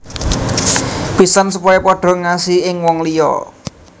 Pisan supaya padha ngasihi ing wong liya